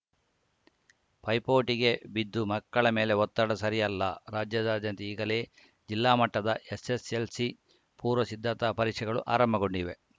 ಪೈಪೋಟಿಗೆ ಬಿದ್ದು ಮಕ್ಕಳ ಮೇಲೆ ಒತ್ತಡ ಸರಿಯಲ್ಲ ರಾಜ್ಯಾದ್ಯಂತ ಈಗಲೇ ಜಿಲ್ಲಾಮಟ್ಟದ ಎಸ್‌ಎಸ್‌ಎಲ್‌ಸಿ ಪೂರ್ವಸಿದ್ದತಾ ಪರೀಕ್ಷೆಗಳು ಆರಂಭಗೊಂಡಿವೆ